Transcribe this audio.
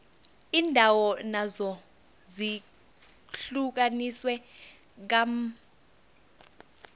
iindawo nazo zihlukaniswe kambadlwana